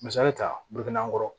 Misali ta burukɛnɛ kɔrɔ